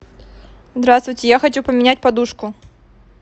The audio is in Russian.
здравствуйте я хочу поменять подушку